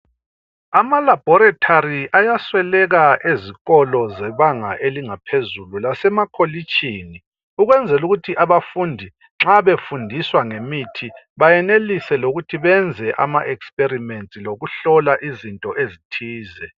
Ama laboratory ayasweleka ezikolo zebanga elingaphezulu lasema kholitshini ukwenzela ukuthi abafundi nxa befundiswa ngemithi bayenelise lokuthi benze ama experiment lokuhlola izinto ezithize